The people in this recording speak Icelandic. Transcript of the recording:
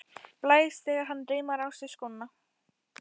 Blæs þegar hann reimar á sig skóna.